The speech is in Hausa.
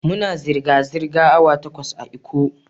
Muna zirga-zirga awa takwas a'lkko.